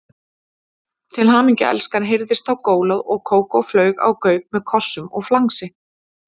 Til hamingju elskan heyrðist þá gólað og Kókó flaug á Gauk með kossum og flangsi.